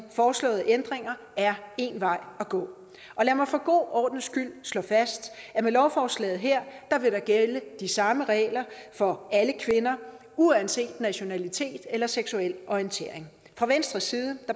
foreslåede ændringer er en vej at gå lad mig for god ordens skyld slå fast at med lovforslaget her vil der gælde de samme regler for alle kvinder uanset nationalitet eller seksuel orientering fra venstres side